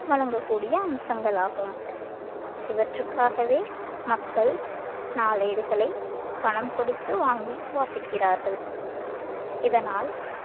வழங்கக் கூடிய அம்சங்களாகும் இவற்றுக்காகவே மக்கள் நாளேடுகளை பணம் கொடுத்து வாங்கி வாசிக்கிறார்கள் இதனால்